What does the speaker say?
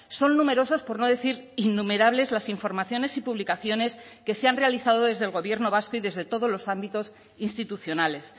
son numerosos por no decir innumerables las informaciones y publicaciones que se han realizado desde el gobierno vasco y desde todos los ámbitos institucionales